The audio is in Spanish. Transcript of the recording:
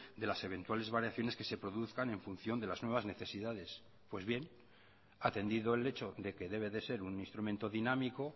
de las eventuales variaciones que se produzcan en función de las nuevas necesidades pues bien atendido el hecho de que debe de ser un instrumento dinámico